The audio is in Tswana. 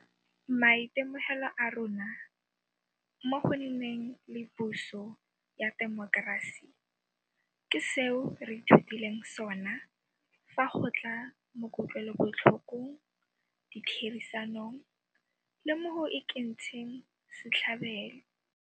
Maitemogelo a rona mo go nneng le puso ya temokerasi ke seo re ithutileng sona fa go tla mo kutlwelobotlhokong, ditherisanong le mo go ikentsheng setlhabelo.